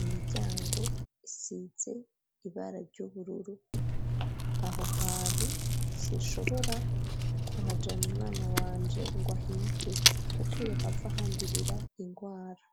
imiryango isize ibara ry'ubururu aho hantu sinshobora kuhajana umwana wanje ngo ahige kuko yohava ahandurira indwara.